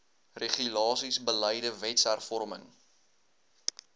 regulasies beleide wetshervorming